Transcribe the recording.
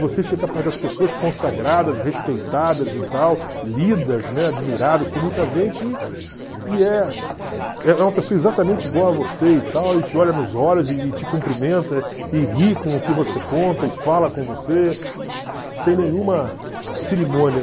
Você chega perto das pessoas consagradas, respeitadas e tal, lidas, né, admiradas por muita gente e e é é uma pessoa exatamente igual a você e tal, e te olha nos olhos e e te cumprimenta e ri com o que você conta e fala com você sem nenhuma cerimônia.